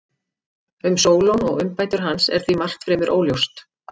Um Sólon og umbætur hans er því margt fremur óljóst.